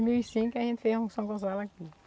mil e cinco a gente fez um São Gonçalo aqui.